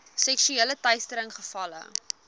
seksuele teistering gevalle